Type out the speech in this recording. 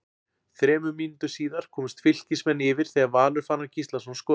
Þremur mínútum síðar komust Fylkismenn yfir þegar Valur Fannar Gíslason skoraði.